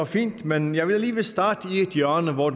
fint men jeg vil alligevel starte i et hjørne hvor